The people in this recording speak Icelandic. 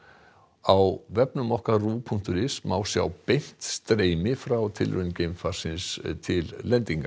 á vefnum okkar punktur is má sjá beint streymi frá tilraun geimfarsins til lendingar